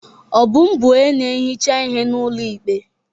Obum bụ onye na-ehicha ihe n'ụlọ ikpe.